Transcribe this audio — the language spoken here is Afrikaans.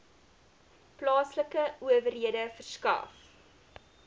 plaaslike owerhede verskaf